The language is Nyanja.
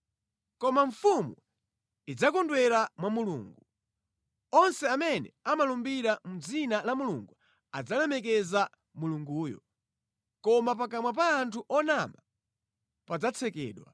Koma mfumu idzakondwera mwa Mulungu; onse amene amalumbira mʼdzina la Mulungu adzalemekeza Mulunguyo, koma pakamwa pa anthu onama padzatsekedwa.